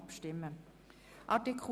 Wir stimmen somit ab.